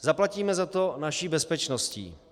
Zaplatíme za to naší bezpečností.